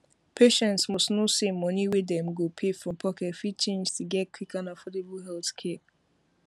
patients must know say money wey dem go pay from pocket fit change to get quick and affordable healthcare